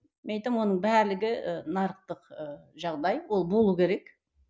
мен айтамын оның барлығы ы нарықтық ы жағдай ол болу керек